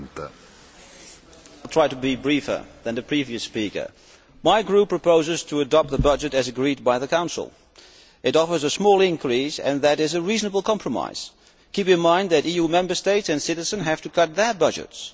Mr President, I shall try to be briefer than the previous speaker. My group proposes to adopt the budget as agreed by the Council. It offers a small increase and that is a reasonable compromise. Keep in mind that EU Member States and citizens have to cut their budgets.